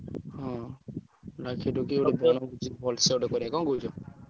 ହଁ ଡାକି ଡୁକି ଗୋଟେ ବଣଭୋଜି ଭଲସେ ଗୋଟେ କରିଆ କଣ କହୁଛ?